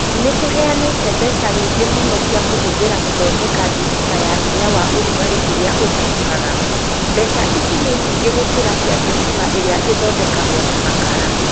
Nĩ tũheanĩte mbeca nyingĩ mũno cia kũhũthĩra gũthondeka thitima ya hinya wa ũrugarĩ ũrĩa ũtahukaga. Mbeca ici nĩ nyingĩ gũkĩra cia thitima ĩrĩa ĩthondekagwo na makara.